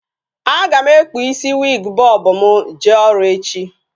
A ga m ekpu isi wiig bọb m jee ọrụ echi